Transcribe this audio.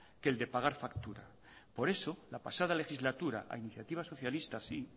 que el de pagar factura por eso la pasada legislatura a iniciativa socialista sí